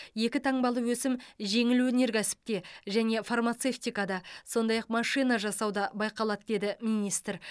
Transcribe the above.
екі таңбалы өсім жеңіл өнеркәсіпте және фармацевтикада сондай ақ машина жасауда байқалады деді министр